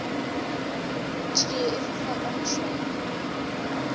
tšie e fofa ka mošwang